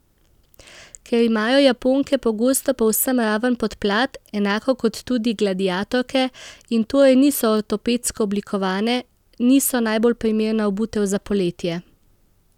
Ker imajo japonke pogosto povsem raven podplat, enako kot tudi gladiatorke, in torej niso ortopedsko oblikovane, niso najbolj primerna obutev za poletje.